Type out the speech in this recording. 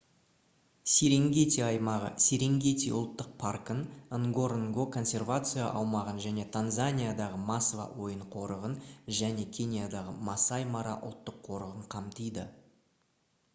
серенгети аймағы серенгети ұлттық паркын нгоронгоро консервация аумағын және танзаниядағы масва ойын қорығын және кениядағы масаи мара ұлттық қорығын қамтиды